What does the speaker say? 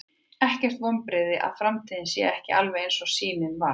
Er ekkert vonbrigði að framtíðin sé ekki alveg eins og sýnin var?